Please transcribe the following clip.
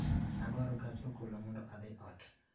Adwaro gach okolomondo odhi ot